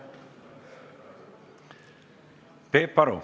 Peep Aru.